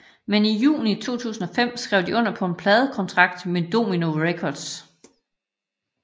Men i juni 2005 skrev de under på en pladekontrakt med Domino Records